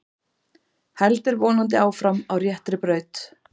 Heldur vonandi áfram á réttri braut